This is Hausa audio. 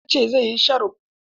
Ya ce zai yi sharo.